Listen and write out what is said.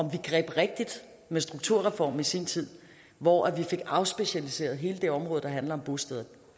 vi greb rigtigt med strukturreformen i sin tid hvor vi fik afspecialiseret hele det område der handler om bosteder